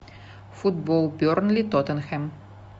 футбол бернли тоттенхэм